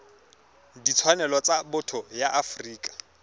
ditshwanelo tsa botho ya afrika